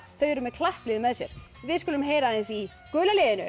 þau eru með klapplið með sér við skulum heyra aðeins í gula liðinu